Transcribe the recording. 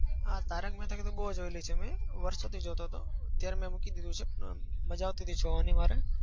હા. તારક મહેતા તો મેં બહુ જોઈલી છે મેં. વર્ષોથી જોતો હતો. અત્યારે મેં મૂકી દીધી છે. મજા આવતી હતી જોવાની મારે.